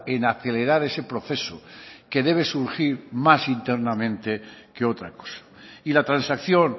en acelerar ese proceso que debe surgir más internamente que otra cosa y la transacción